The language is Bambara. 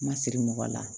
Ma siri mɔgɔ la